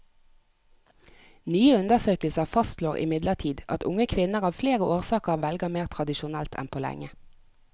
Nyere undersøkelser fastslår imidlertid at unge kvinner av flere årsaker velger mer tradisjonelt enn på lenge.